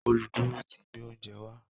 Oluduro tí gbé oúnjẹ wa